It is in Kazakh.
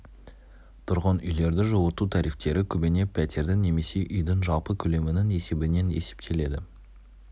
тұрғын үйлерді жылыту тарифтері көбіне пәтердің немесе үйдің жалпы көлемінің есебінен есептеледі